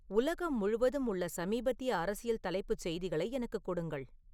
உலகம் முழுவதும் உள்ள சமீபத்திய அரசியல் தலைப்புச் செய்திகளை எனக்குக் கொடுங்கள்